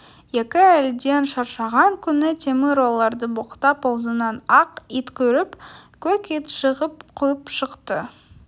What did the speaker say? екі әйелден шаршаған күні темір оларды боқтап аузынан ақ ит кіріп көк ит шығып қуып шықты